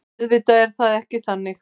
En auðvitað er það ekki þannig